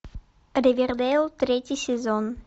ривердейл третий сезон